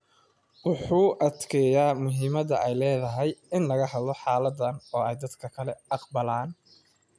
Wuxuu adkeeyaa muhiimadda ay leedahay in laga hadlo xaaladdan oo ay dadka kale aqbalaan.